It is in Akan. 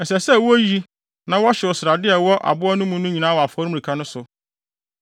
Ɛsɛ sɛ woyi na wɔhyew srade a ɛwɔ aboa no mu no nyinaa wɔ afɔremuka no so.